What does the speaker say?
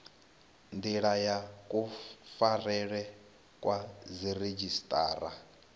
ndila ya kufarelwe kwa dziredzhisiṱara